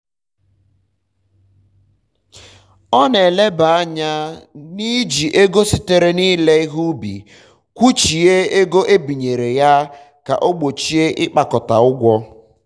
ọ na elebe anya n'iji ego sitere na ire ihe ubi kwụchie ego ebinyere ya ka o gbochie ịkpakọta ụgwọ